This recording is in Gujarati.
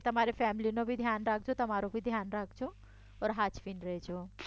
તમારી ફેમિલીનું બી ધ્યાન રાખજો તમારું બી ધ્યાન રાખજો ઓર હાચવીને રેજો